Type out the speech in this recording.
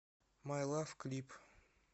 май лав клип